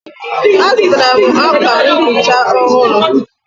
Azụtara m akwa nhicha ọhụrụ